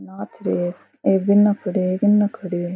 नाच रे है एक इना खड़े एक इना खड़े है।